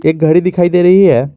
एक घड़ी दिखाई दे रही है।